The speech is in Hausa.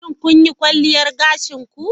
Shin kun yi kwalliyar gashin ku?